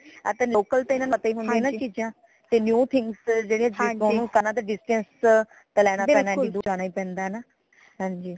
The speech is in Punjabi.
ਤੇ local ਤੇ ਇਨਾ ਨੂੰ ਪਤਾ ਹੀ ਨਈ ਹੁੰਦੀਆਂ ਨਾ ਚੀਜ਼ਾਂ ਤੇ new things ਤੇ distance ਤੇ ਲੈਣਾ ਪੈਣਾ ਹੈ ਏਡੀ ਦੂਰ ਜਾਣਾ ਹੀ ਪੈਂਦਾ ਹੈ ਹੈ ਨਾ ਹਾਂਜੀ